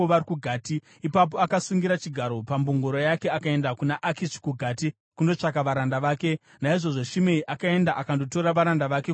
Ipapo akasungira chigaro pambongoro yake akaenda kuna Akishi kuGati kundotsvaga varanda vake. Naizvozvo Shimei akaenda akandotora varanda vake kubva kuGati.